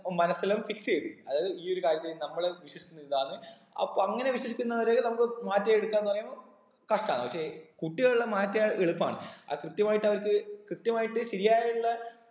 ഉം മനസ്സിലും fix എയ്ത് അതായത് ഈ ഒരു കാര്യത്തില് നമ്മള് വിശ്വസിക്കുന്ന ഇതാണ് അപ്പൊ അങ്ങനെ വിശ്വസിക്കുന്നവരെ നമ്മുക്ക് മാറ്റി എടുക്കാംന്ന് പറയുമ്പൊ കഷ്ട്ടാണ് പക്ഷെ കുട്ടികളെല്ലാം മാറ്റിയാൽ എളുപ്പാണ് ആ കൃത്യമായിട്ട് അവർക്ക് കൃത്യമായിട്ട് ശരിയായി ഉള്ള